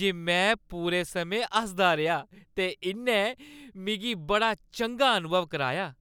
जे में पूरे समें हसदा रेहा ते इन्नै मिगी बड़ा चंगा अनुभव कराया।